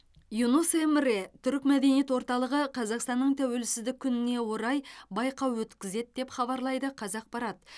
юнус эмре түрік мәдениет орталығы қазақстанның тәуелсіздік күніне орай байқау өткізеді деп хабарлайды қазақпарат